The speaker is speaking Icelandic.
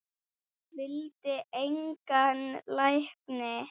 Vildi engan lækni.